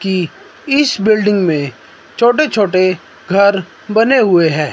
की इस बिल्डिंग मे छोटे-छोटे घर बने हुए है।